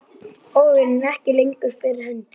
Áhuginn er ekki lengur fyrir hendi.